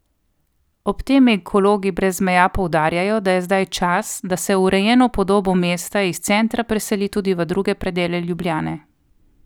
Ob tem Ekologi brez meja poudarjajo, da je zdaj čas, da se urejeno podobo mesta iz centra preseli tudi v druge predele Ljubljane.